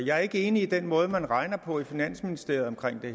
jeg er ikke enig i den måde man regner på i finansministeriet hvad